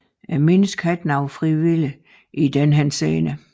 Mennesket har ikke nogen fri vilje i den henseende